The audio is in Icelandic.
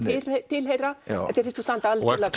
tilheyra og þér finnst þú standa algjörlega